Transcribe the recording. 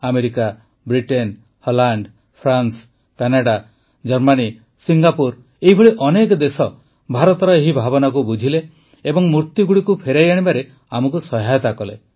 America Britain Holland France Canada Germany Singapore ଏହିଭଳି ଅନେକ ଦେଶ ଭାରତର ଏହି ଭାବନାକୁ ବୁଝିଲେ ଏବଂ ମୂର୍ତ୍ତିଗୁଡ଼ିକ ଫେରାଇ ଆଣିବାରେ ଆମକୁ ସହାୟତା କଲେ